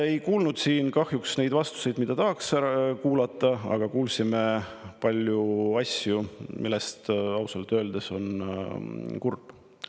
Ei kuulnud siin kahjuks neid vastuseid, mida tahaks kuulata, aga kuulsime palju asju, mille pärast ausalt öeldes on kurb.